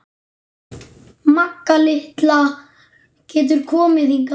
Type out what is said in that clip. Magga litla getur komið hingað.